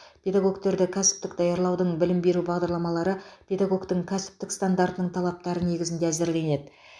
педагогтерді кәсіптік даярлаудың білім беру бағдарламалары педагогтің кәсіптік стандартының талаптары негізінде әзірленеді